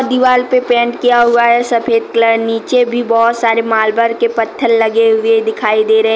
दीवाल पर पेंट किया हुआ है सफेद कलर नीचे भी बहोत सारे मार्बल के पत्थर लगे हुए दिखाई दे रहे--